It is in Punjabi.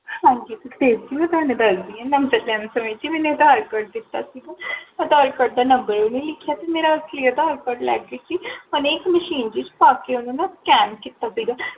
ਹਾਂਜੀ ਸੁਖਦੇਵ ਜੀ, ਮੈ ਤੁਹਾਨੂ ਦਸਦੀ ਹਾਂ ਜੀ ਮੈਨੇ ਆਦਾਰ ਕਾਰਡ ਦਿੱਤਾ ਸੀਗਾ ਆਦਾਰ ਕਾਰਡ ਦਾ Number ਵੀ ਨਿਕਲਿਆ ਸੀ ਮੇਰਾ ਆਦਾਰ ਕਾਰਡ ਲੈ ਗਏ ਸੀ Machinery ਚ ਪਾ ਕੇ ਓਨੁ ਨਾ Scan ਕੀਤਾ ਸੀਗਾ